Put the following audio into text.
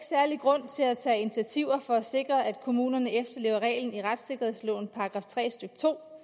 særlig grund til at tage initiativer for at sikre at kommunerne efterlever reglen i retssikkerhedslovens § tre stykke